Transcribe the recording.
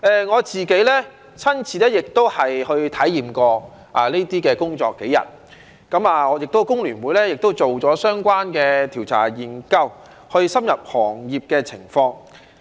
我自己亦親身體驗過這些工作數天，我們香港工會聯合會亦做了相關的調查研究，去深入了解行業的情況。